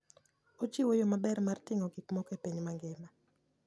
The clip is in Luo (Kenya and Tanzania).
Ochiwo yo maber mar ting'o gik moko e piny mangima.